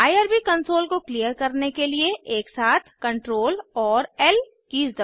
IRB console को clear करने के लिए एकसाथ Ctrl और ल कीज़ दबाएं